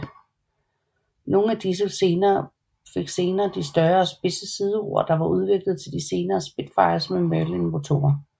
Nogle af disse fik senere de større og spidse sideror der var udviklet til de senere Spitfires med Merlin motorer